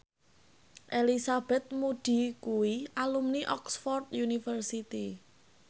Elizabeth Moody kuwi alumni Oxford university